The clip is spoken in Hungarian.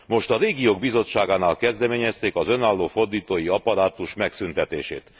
Most a Régiók Bizottságánál kezdeményezték az önálló fordítói apparátus megszűntetését.